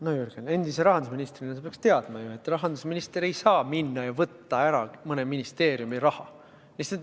No Jürgen, endise rahandusministrina sa peaksid ju teadma, et rahandusminister ei saa minna ja võtta ära mõne ministeeriumi raha.